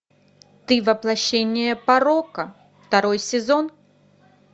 ты воплощение порока второй сезон